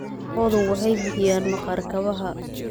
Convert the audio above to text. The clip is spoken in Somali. Lo'du waxay bixiyaan maqaar kabaha.